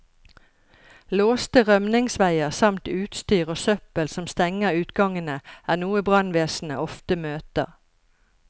Låste rømningsveier samt utstyr og søppel som stenger utgangene, er noe brannvesenet ofte møter.